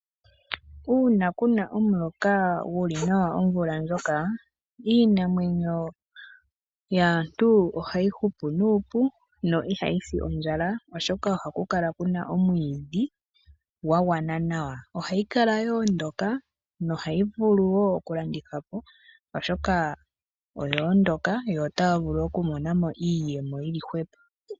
Uuna ku na omuloka gu li nawa omvula ndjoka, iinamwenyo yaantu ohayi hupu nuupu no ihayi si ondjala, oshoka ohaku kala ku na omwiidhi gwa gwana nawa. Ohayi kala yo ondoka nohayi vulu wo okulandithwa po, oshoka oya ondoka notaya vulu woo okumona mo iiyemo yi li hwepo.